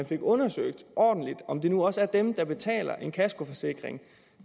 blev undersøgt ordentligt om det nu også er dem der betaler for en kaskoforsikring